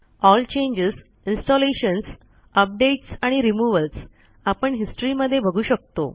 L changes installations updates आणि removals आपण history मध्ये बघू शकतो